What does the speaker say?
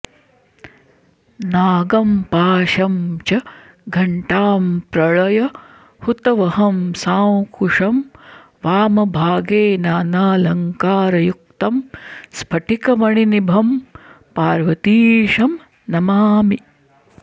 नागम् पाशम् च घंटाम् प्रळय हुतवहम् सांकुशम् वामभागे नानालंकारयुक्तम् स्फटिकमणिनिभम् पार्वतीशम् नमामि